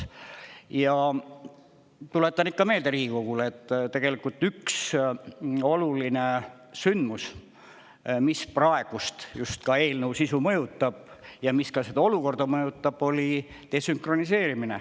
Ja tuletan ikka meelde Riigikogule, et tegelikult üks oluline sündmus, mis praegust just ka eelnõu sisu mõjutab ja mis ka seda olukorda mõjutab, oli desünkroniseerimine.